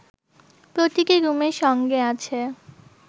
প্রতিটি রুমের সঙ্গে আছে